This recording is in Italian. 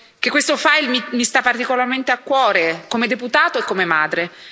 che questo mi sta particolarmente a cuore, come deputato e come madre.